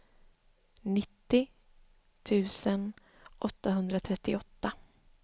nittio tusen åttahundratrettioåtta